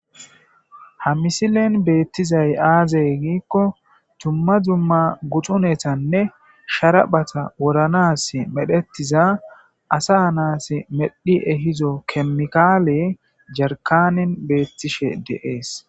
ha misilen beettizay aazey giikko tumma dumma guxunetanne sharaphata woranas medhetiza asa naas medhi ehizo kemikaale jarkanin beettishe deees